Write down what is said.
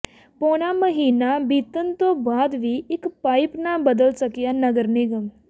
ਪੌਣਾ ਮਹੀਨਾ ਬੀਤਣ ਤੋਂ ਬਾਅਦ ਵੀ ਇਕ ਪਾਇਪ ਨਾ ਬਦਲ ਸਕਿਆ ਨਗਰ ਨਿਗਮ